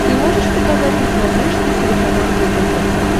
ты можешь показать на смотрешке телеканал егэ тв